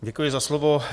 Děkuji za slovo.